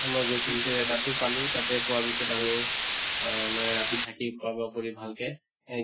মই গৈছিলো । তে তাতো পালো, তাতে পোৱা পিছত আৰু এই আ ৰাতি থাকি খোৱা বোৱা কৰি, ভাল কে, সেই